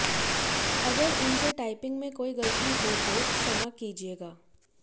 अगर उनसे टाइपिंग में कोई गलती हो तो क्षमा कीजिएगा